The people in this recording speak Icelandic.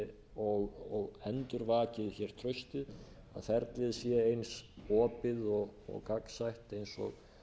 og endurvakið hér traustið að ferlið sé eins opið og gagnsætt og